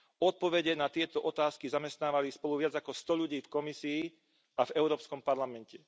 Odpovede na tieto otázky zamestnávali spolu viac ako sto ľudí v Komisii a v Európskom parlamente.